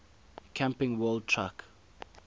camping world truck